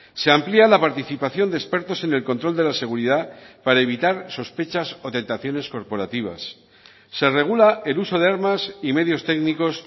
se amplía la participación de expertos en el control de la seguridad para evitar sospechas o tentaciones corporativas se regula el uso de armas y medios técnicos